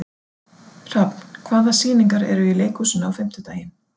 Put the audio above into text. Hrafn, hvaða sýningar eru í leikhúsinu á fimmtudaginn?